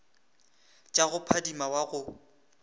tša go phadima wa go